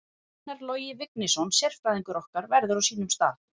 Einar Logi Vignisson sérfræðingur okkar verður á sínum stað.